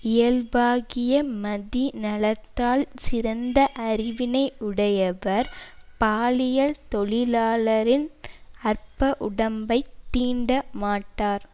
இயல்பாகிய மதிநலத்தால் சிறந்த அறிவினை உடையவர் பாலியல் தொழிலாளரின் அற்ப உடம்பை தீண்டமாட்டார்